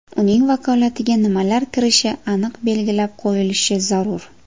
Uning vakolatiga nimalar kirishi aniq belgilab qo‘yilishi zarur.